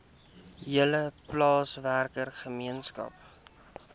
hele plaaswerker gemeenskap